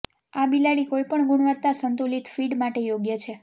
આ બિલાડી કોઈપણ ગુણવત્તા સંતુલિત ફીડ માટે યોગ્ય છે